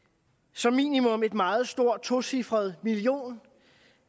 som minimum måtte et meget stort tocifret milliontal